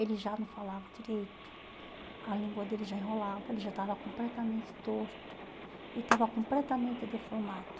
Ele já não falava direito, a língua dele já enrolava, ele já estava completamente torto, ele estava completamente deformado.